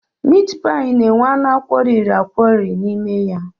Mitpaị na-enwe anụ akwọriri akwọri n'ime ya.